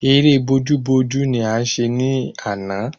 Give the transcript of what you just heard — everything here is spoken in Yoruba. Ẹrẹ́ bojú bojú ni a ṣe ní àná